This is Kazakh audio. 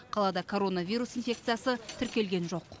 қалада коронавирус инфекциясы тіркелген жоқ